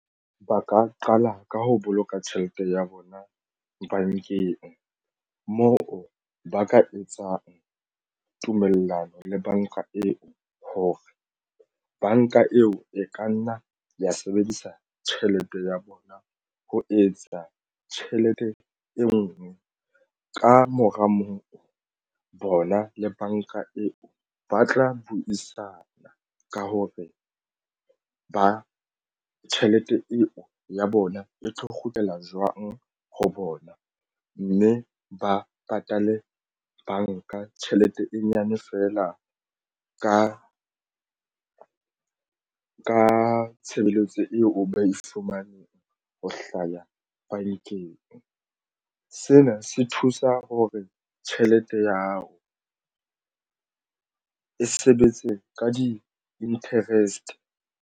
Ba ka qala ka ho boloka tjhelete ya bona bankeng moo ba ka etsang tumellano le banka eo hore banka eo e ka nna ya sebedisa tjhelete ya bona ho etsa tjhelete e nngwe. Ka mora moo bona le banka eo ba tla buisana ka hore ba tjhelete ya eo ya bona e tlo kgutlela jwang ho bona mme ba patale banka tjhelete e nyane feela ka tshebeletso eo ba e fumanang ho hlaya bankeng. Sena se thusa ho re tjhelete ya hao e sebetse ka di-interest.